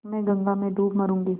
मैं गंगा में डूब मरुँगी